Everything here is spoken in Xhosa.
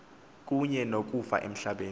kunye nokufa emhlabeni